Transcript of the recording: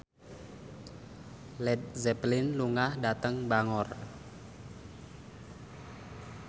Led Zeppelin lunga dhateng Bangor